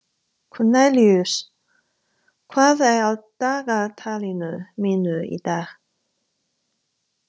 Kornelíus, hvað er á dagatalinu mínu í dag?